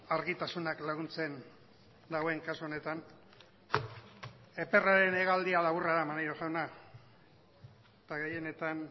argitasunak laguntzen duen kasu honetan eperraren hegaldia laburra da maneiro jauna eta gehienetan